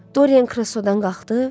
Dorian kreslodan qalxdı.